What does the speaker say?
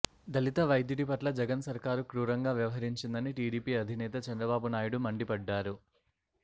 దళిత వైద్యుడి పట్ల జగన్ సర్కారు క్రూరంగా వ్యవహరించిందని టీడీపీ అధినేత చంద్రబాబు నాయుడు మండిపడ్డారు